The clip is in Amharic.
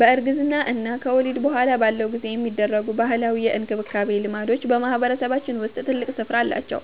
በእርግዝና እና ከወሊድ በኋላ ባለው ጊዜ የሚደረጉ ባህላዊ የእንክብካቤ ልምዶች በማህበረሰባችን ውስጥ ትልቅ ስፍራ አላቸው።